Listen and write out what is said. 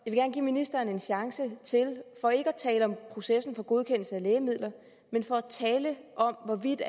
give ministeren en chance til for ikke at tale om processen for godkendelse af lægemidler men for at tale om hvorvidt